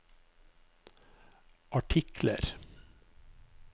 artikler